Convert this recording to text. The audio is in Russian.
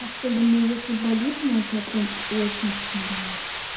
особенно если болит она у тебя прям очень сильная